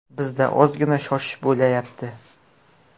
Bizda ozgina shoshish bo‘layapti.